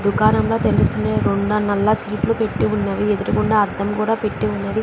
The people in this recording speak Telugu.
దుకాణంలో తెలిసిన సీట్లు పెట్టి ఉన్నవి. ఎదురకుండా అద్దం కూడా పెట్టి ఉన్నది.